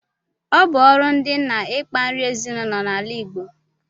Ọ bu ọrụ ndi nna ikpa nri ezinụlọ na ala Igbo